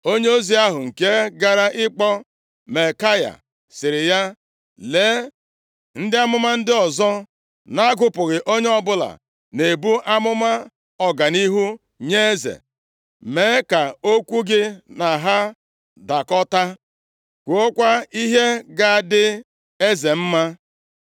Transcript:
Onyeozi ahụ nke gara ịkpọ Maikaya sịrị ya, “Lee, ndị amụma ndị ọzọ na-agụpụghị onye ọbụla na-ebu amụma ọganihu nye eze. Mee ka okwu gị na ha dakọta. Kwuokwa ihe ga-adị eze mma.”